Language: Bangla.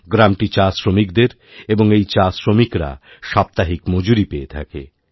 গ্রামটি চাশ্রমিকদেরএবং এই চাশ্রমিকরা সাপ্তাহিক মজুরি পেয়ে থাকে